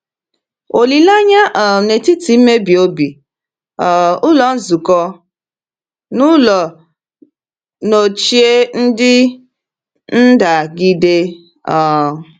Olileanya um N’etiti Mmebi Obi — um Ụlọ Nzukọ n’Ụlọ Nọchie Ndị Ndagide. um